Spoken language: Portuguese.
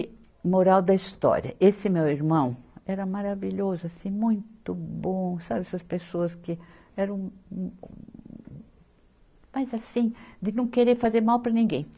E moral da história, esse meu irmão era maravilhoso, assim, muito bom, sabe essas pessoas que eram mas assim, de não querer fazer mal para ninguém.